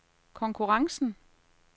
konkurrencen